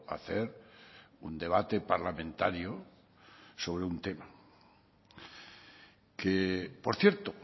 hacer un debate parlamentario sobre un tema que por cierto